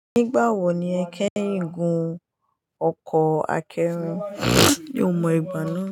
Nígbà wo ni ẹ kẹ́hìń gun ọkọ̀ akẹ́rù? Yóò mọ ìgbà náà.